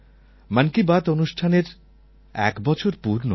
মন কি বাত অনুষ্ঠানের এক বছর পূর্ণ হলো